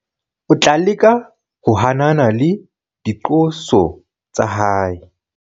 o tla leka ho hanana le diqoso tsa hae